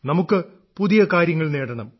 നമുക്ക് പുതിയ കാര്യങ്ങൾ നേടണം